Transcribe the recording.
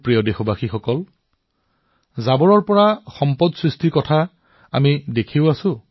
মোৰ মৰমৰ দেশবাসীসকল আৱৰ্জনাৰ পৰা সম্পদলৈ ৰূপান্তৰৰ বিষয়ে আমি সকলোৱে দেখিছো শুনিছো আৰু আমি আনকো কও